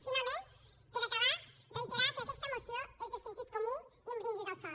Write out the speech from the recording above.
finalment per acabar reiterar que aquesta moció és de sentit comú i un brindis al sol